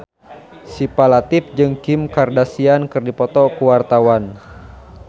Syifa Latief jeung Kim Kardashian keur dipoto ku wartawan